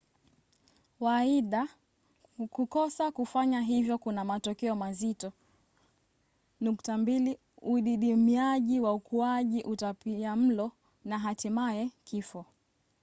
waaidha kukosa kufanya hivyo kuna matokeo mazito: udidimiaji wa ukuaji utapiamlo na hatimaye kifo